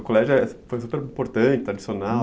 O colégio é, foi super importante, tradi